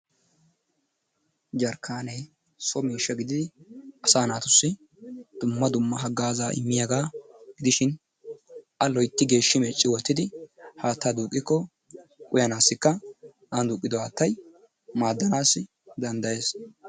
Jarkkaane so miishsha gidid asaa naatussi dumma dumma haggaazaa immiyaga gidishin; A loyitti geeshshi meecci wottidi haattaa duuqqikko uyanassikka ani duuqqido haattay maaddanassi danddayees.